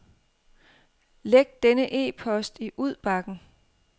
Læg denne e-post i udbakken.